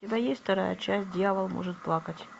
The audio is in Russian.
у тебя есть вторая часть дьявол может плакать